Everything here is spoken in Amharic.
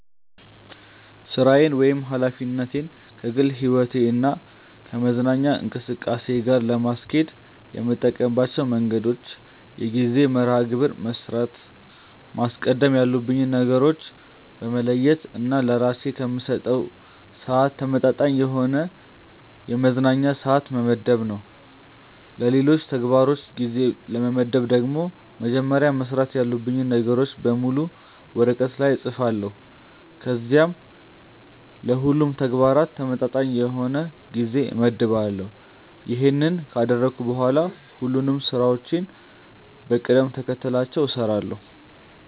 ሥራዬን ወይም ኃላፊነቴን ከግል ሕይወቴ እና ከመዝናኛ እንቅስቃሴ ጋር ለማስኬድ የምጠቀምባቸው መንገዶች የጊዜ መርሐ ግብር በመስራት፣ ማስቀደም ያሉብኝን ነገሮች በመለየት እና ለስራዬ ከምሰጠው ስዓት ተመጣጣኝ የሆነ የመዝናኛ ስዓት በመመደብ ነው። ለሌሎች ተግባሮች ጊዜ ለመመደብ ደግሞ መጀመሪያ መስራት ያሉብኝን ነገሮች በሙሉ ወረቀት ላይ እፅፋለሁ ከዚያም ለሁሉም ተግባራት ተመጣጣኝ የሆነ ጊዜ እመድባለሁ። ይሄንን ካደረግኩ በኋላ ሁሉንም ስራዎችን በቅደም ተከተላቸው እሰራለሁ።